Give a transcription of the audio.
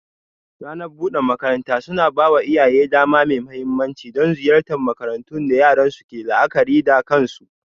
Ranar bude makarantu suna ba wa iyaye dama mai mahimmanci don ziyartar makarantun da yaran su ke la'akari da kansu.